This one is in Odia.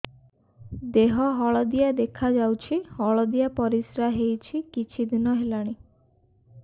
ଦେହ ହଳଦିଆ ଦେଖାଯାଉଛି ହଳଦିଆ ପରିଶ୍ରା ହେଉଛି କିଛିଦିନ ହେଲାଣି